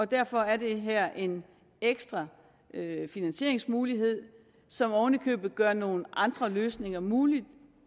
derfor er det her en ekstra finansieringsmulighed som ovenikøbet gør nogle andre løsninger mulige